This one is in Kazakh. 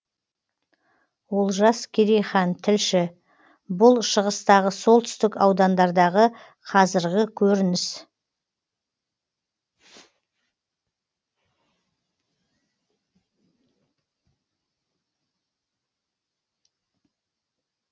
олжас керейхан тілші бұл шығыстағы солтүстік аудандардағы қазіргі көрініс